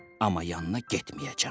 Amma yanına getməyəcəm.